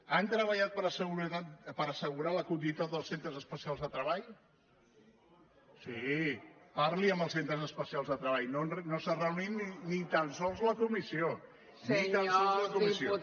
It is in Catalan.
han treballat per assegurar la continuïtat dels centres especials de treball sí parli amb els centres especials de treball no s’ha reunit ni tan sols la comissió ni tan sols la comissió